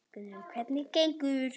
Guðrún: Hvernig gengur?